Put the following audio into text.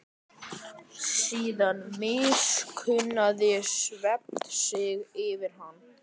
Síðan miskunnaði svefninn sig yfir hana.